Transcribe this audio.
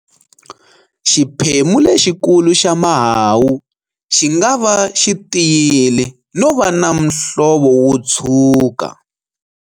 Xiphemu lexikulu xa mahahu xi nga va xi tiyile no va na muhlovo wo tshuka.